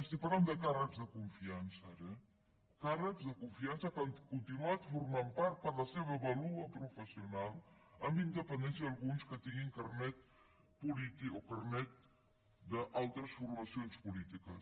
estic parlant de càrrecs de confiança ara eh càrrecs de confiança que han continuat formantne part per la seva vàlua professional amb independència alguns que tinguin carnet polític o carnet d’altres formacions polítiques